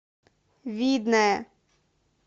видное